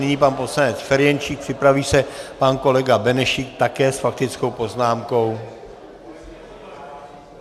Nyní pan poslanec Ferjenčík, připraví se pan kolega Benešík také s faktickou poznámkou.